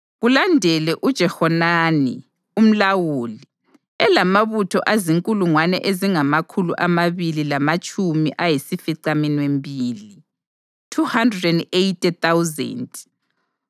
kulandele uJehohanani umlawuli, elamabutho azinkulungwane ezingamakhulu amabili lamatshumi ayisificaminwembili (280,000);